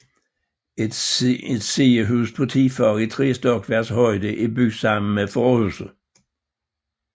Et sidehus på ti fag i tre stokværks højde er bygget sammen med forhuset